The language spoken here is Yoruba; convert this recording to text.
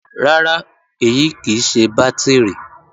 Rárá, èyí kì í ṣe bátìrì